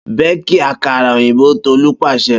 Beki akara oyinbo Tolu paṣẹ!